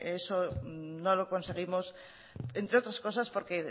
eso no lo conseguimos entre otras cosas porque